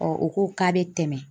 u ko k'a bɛ tɛmɛ